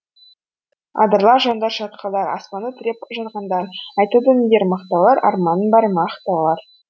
адырлар жондар шатқалдар аспанды тіреп жатқандар айтылды нелер мақтаулар арманың бар ма ақ таулар